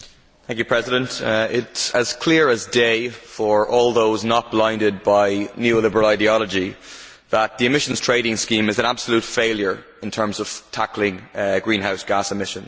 Mr President, it is as clear as day for all those not blinded by neo liberal ideology that the emissions trading scheme is an absolute failure in terms of tackling greenhouse gas emissions.